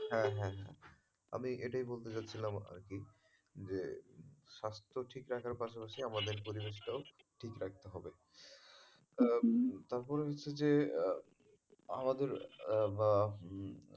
হ্যাঁ, হ্যাঁ, হ্যাঁ, আমি এটাই বলতে চাচ্ছিলাম আরকি যে স্বাস্থ্য ঠিক রাখার পাশাপাশি আমাদের পরিবেশটাও ঠিক রাখতে হবে আহ তারপরে হচ্ছে যে আমাদের আহ উম